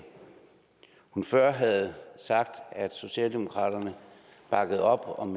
hun før havde sagt at socialdemokratiet bakkede op om